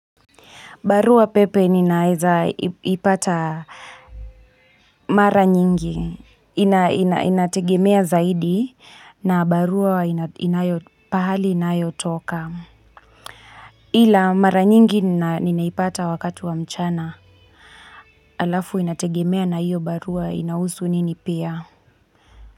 Barua pepe ninaweza ipata mara nyingi, inategemea zaidi na barua pahali inayotoka. Ila mara nyingi ninaipata wakati wa mchana, alafu inategemea na hiyo barua inahusu nini pia.